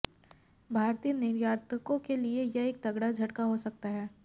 भारतीय निर्यातकों के लिए यह एक तगड़ा झटका हो सकता है